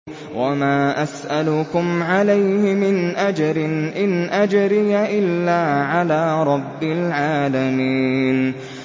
وَمَا أَسْأَلُكُمْ عَلَيْهِ مِنْ أَجْرٍ ۖ إِنْ أَجْرِيَ إِلَّا عَلَىٰ رَبِّ الْعَالَمِينَ